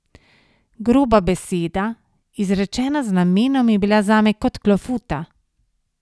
Groba beseda, izrečena z namenom, je bila zame kot klofuta.